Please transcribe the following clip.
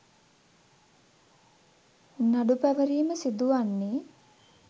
නඩු පැවරීම සිදුවන්නේ